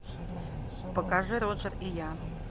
покажи роджер и я